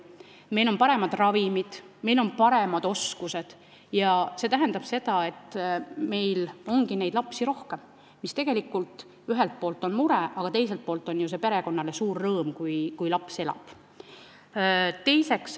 Meil on paremad ravimid, meil on paremad oskused ja see tähendab, et meil ongi neid lapsi rohkem, mis ühelt poolt on mure, aga teiselt poolt on see ju perekonnale suur rõõm, kui laps elab.